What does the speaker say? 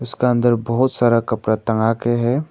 इसका अंदर बहुत सारा कपड़ा टंगा के है।